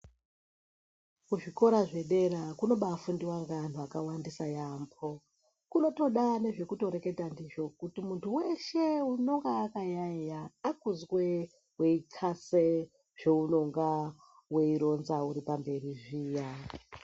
Kuzvikora zvedera kunobaafundiwa ngeanthu akawandisa yaambho, kunotoda ane zvekutoreketa ndizvo kuti munthu weshe unonga akayaeya akuzwe weixase zveunonga weironza uri pamberi zviya.